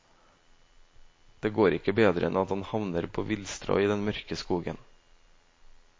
Det går ikke bedre enn at han havner på villstrå i den mørke skogen.